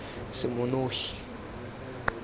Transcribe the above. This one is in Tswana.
semonogi